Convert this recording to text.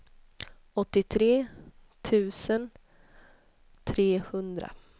åttiotre tusen trehundra